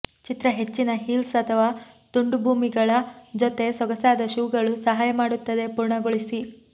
ಚಿತ್ರ ಹೆಚ್ಚಿನ ಹೀಲ್ಸ್ ಅಥವಾ ತುಂಡುಭೂಮಿಗಳ ಜೊತೆ ಸೊಗಸಾದ ಶೂಗಳು ಸಹಾಯ ಮಾಡುತ್ತದೆ ಪೂರ್ಣಗೊಳಿಸಿ